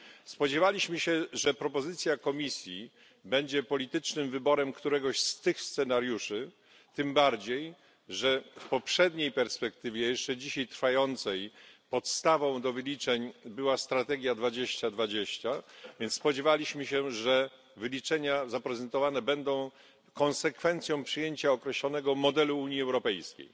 Spodziewaliśmy się, że propozycja Komisji będzie politycznym wyborem któregoś z tych scenariuszy tym bardziej, że w poprzedniej perspektywie jeszcze dzisiaj trwającej podstawą do wyliczeń była strategia 2020, więc spodziewaliśmy się, że zaprezentowane wyliczenia będą konsekwencją przyjęcia określonego modelu Unii Europejskiej.